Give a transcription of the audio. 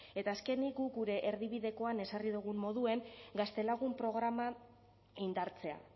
eta azkenik guk gure erdibidekoan ezarri dugun moduan gaztelagun programa indartzea